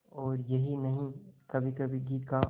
और यही नहीं कभीकभी घी का